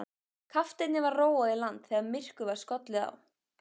Kafteini var róið í land þegar myrkur var skollið á.